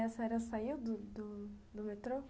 E a senhora saiu do do do metrô?